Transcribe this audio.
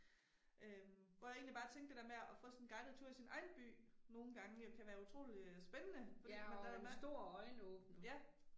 Øh hvor jeg egentlig bare tænkte det der med at få sådan en guidet tour i sin egen by nogen gange øh kan være utroligt øh spændende fordi man det der med Ja